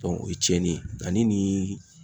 o ye cɛnni ye ale ni